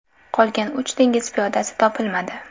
Qolgan uch dengiz piyodasi topilmadi.